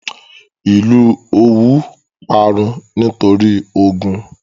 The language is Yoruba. Ìlú Òwú parun nítorí ogun.